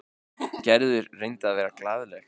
Gerður reyndi að vera glaðleg.